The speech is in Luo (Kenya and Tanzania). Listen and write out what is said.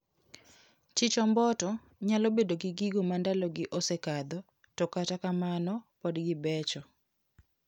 Chich omboto nyalo bedo gi gigo mandalo gi osekadho to kata kamano pod gibecho.